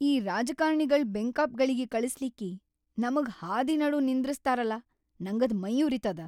ಈ ರಾಜಕಾರ್ಣಿಗಳ್‌ ಬೆಂಕಾಪ್‌ಗಳಿಗಿ ಕಳಸ್ಲಿಕ್ಕಿ ನಮಗ್ ಹಾದಿನಡು ನಿಂದ್ರಸ್ತಾರಲಾ ನಂಗದ್ ಮೈಯುರಿತದ.